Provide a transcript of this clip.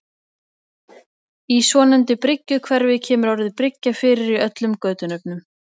Í svonefndu Bryggjuhverfi kemur orðið bryggja fyrir í öllum götunöfnum.